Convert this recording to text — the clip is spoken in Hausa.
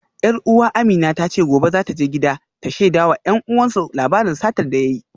Yar uwa Amina ta ce gobe za ta je gida ta shaida wa 'yan uwansu labarin satar da ya yi